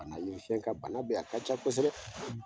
Bana ye ka, bana be yen, a ka ca kosɛbɛ,